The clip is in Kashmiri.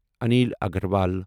عنیٖل اگروال